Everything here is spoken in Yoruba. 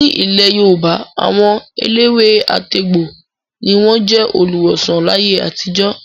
Nílẹ̀ Yorùbá, àwọn eléwé-àtegbò ni wọ́n jẹ́ olùwòsàn láyé àtijó.